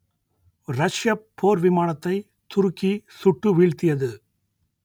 ரஷ்யப் போர் விமானத்தை துருக்கி சுட்டு வீழ்த்தியது